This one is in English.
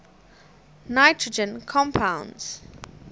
nitrogen compounds